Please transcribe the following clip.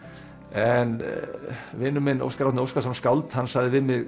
en vinur minn Óskar Árni Óskarsson skáld hann sagði við mig